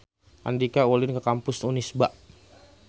Andika ulin ka Kampus Unisba